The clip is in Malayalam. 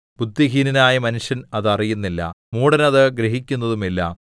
ബുദ്ധിഹീനനായ മനുഷ്യൻ അത് അറിയുന്നില്ല മൂഢൻ അത് ഗ്രഹിക്കുന്നതും ഇല്ല